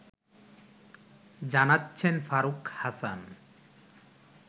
জানাচ্ছেন ফারুক হাসান